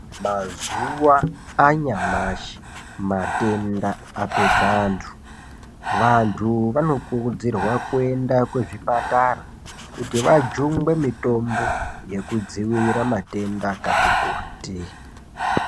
Mazuwa anyamashi matenda apedza antu. Vantu vano kurudzirwa kuenda kuzvipatara kuti vajungwe mitombo yekudzivirira matenda akati kuti.